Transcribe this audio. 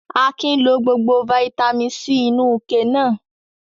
Akin lo gbogbo fataímìn C inú ike náà?